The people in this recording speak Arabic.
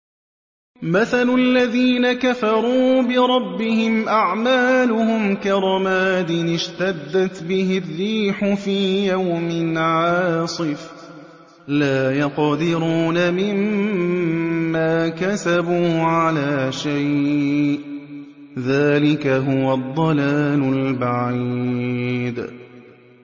مَّثَلُ الَّذِينَ كَفَرُوا بِرَبِّهِمْ ۖ أَعْمَالُهُمْ كَرَمَادٍ اشْتَدَّتْ بِهِ الرِّيحُ فِي يَوْمٍ عَاصِفٍ ۖ لَّا يَقْدِرُونَ مِمَّا كَسَبُوا عَلَىٰ شَيْءٍ ۚ ذَٰلِكَ هُوَ الضَّلَالُ الْبَعِيدُ